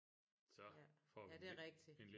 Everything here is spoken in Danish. Ja ja det er rigtigt